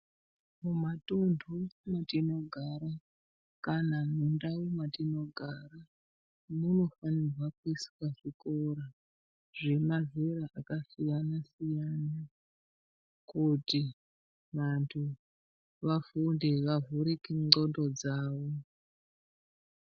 Mumatundu matinogara kana mundau matinogara munofanirwa kuiswa zvikora zvemazera akasiyana-siyana kuti vantu vafunde vavhurike ndxondo dzavo.